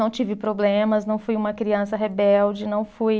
Não tive problemas, não fui uma criança rebelde, não fui.